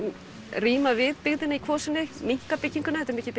ríma við byggðina í kvosinni minnka bygginguna þetta er mikið